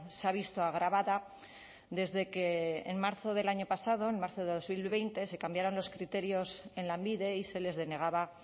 se ha visto agravada desde que en marzo del año pasado en marzo de dos mil veinte se cambiaron los criterios en lanbide y se les denegaba